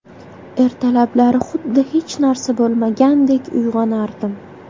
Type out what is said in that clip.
Ertalablari xuddi hech narsa bo‘lmagandek uyg‘onardim.